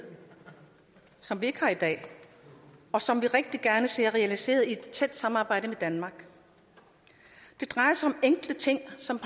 som vi ikke har i dag og som vi rigtig gerne ser realiseret i et tæt samarbejde med danmark det drejer sig enkle ting som